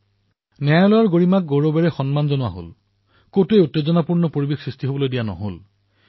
ন্যায়পালিকাৰ গৰিমাক অতিশয় গৌৰৱেৰে সন্মান প্ৰদান কৰা হল আৰু কোনো স্থানতে উত্তাল পৰিবেশৰ সৃষ্টি নহল